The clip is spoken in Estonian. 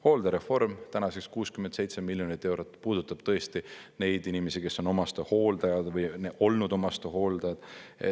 Hooldereform, tänaseks 67 miljonit eurot, puudutab tõesti neid inimesi, kes on omastehooldajad või olnud omastehooldajad.